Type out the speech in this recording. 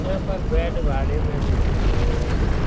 यहाँ पर बेड भाड़े में मिलती है।